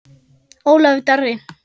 Ólafur Darri.